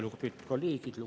Lugupeetud kolleegid!